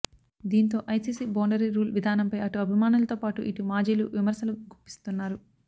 దీంతో ICC boundary rule విధానంపై అటు అభిమానులతో పాటు ఇటు మాజీలు విమర్శలు గుప్పిస్తున్నారు